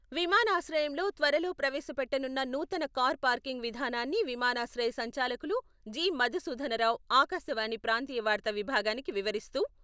విమానాశ్రయంలో త్వరలో ప్రవేశపెట్టనున్న నూతన కార్ పార్కింగ్ విధానాన్ని విమానాశ్రయ సంచాలకులు జి.మధు సూదనరావు ఆకాశవాణి ప్రాంతీయ వార్తా విభాగానికి వివరిస్తూ..